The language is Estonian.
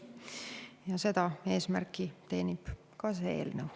Ja seda eesmärki teenib ka see eelnõu.